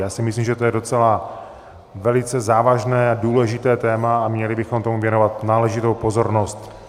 Já si myslím, že je to docela velice závažné a důležité téma a měli bychom tomu věnovat náležitou pozornost.